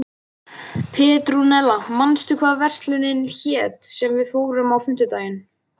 Petrúnella, manstu hvað verslunin hét sem við fórum í á fimmtudaginn?